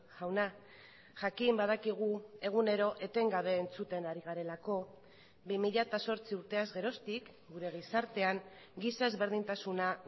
jauna jakin badakigu egunero etengabe entzuten ari garelako bi mila zortzi urteaz geroztik gure gizartean giza ezberdintasuna